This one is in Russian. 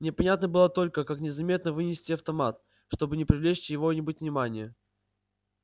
непонятно было только как незаметно вынести автомат чтобы не привлечь чьего-нибудь внимания